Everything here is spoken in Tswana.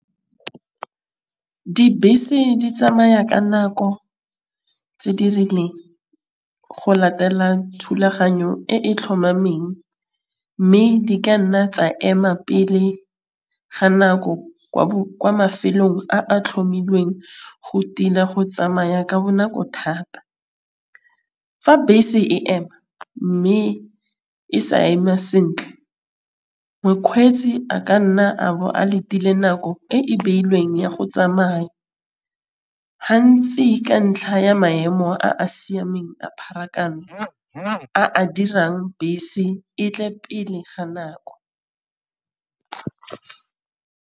Dibese di tsamaya ka nako tse di rileng go latela thulaganyo e e tlhomameng mme di ka nna tsa ema pele ga nako kwa mafelong a a tlhomilweng go tila go tsamaya ka bonako thata. Fa bese e ema mme e sa ema sentle mokgweetsi a ka nna a bo a letile nako e e beilweng ya go tsamaya, hantsi ka ntlha ya maemo a a siameng a pharakano a dirang bese e tle pele ga nako.